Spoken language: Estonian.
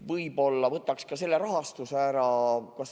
Võib-olla võtaks ka selle rahastuse ära.